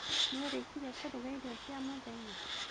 Nĩũrĩkirie kũruga irio cia mũthenya?